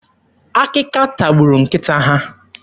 Akịka tagburu nkịta ha.